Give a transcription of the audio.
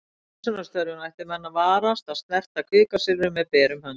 Við hreinsunarstörfin ættu menn að varast að snerta kvikasilfrið með berum höndum.